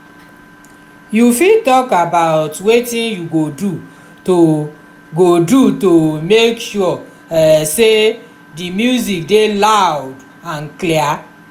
you fit talk about wetin you go do to go do to make sure um say di music dey loud and clear?